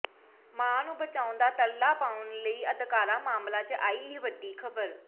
ਮਾਂ ਨੂੰ ਬਚਾਉਣ ਦਾ ਤਰਲਾ ਪਾਉਣ ਵਾਲੀ ਅਦਕਾਰਾ ਮਾਮਲੇ ਚ ਆਈ ਇਹ ਵੱਡੀ ਖਬਰ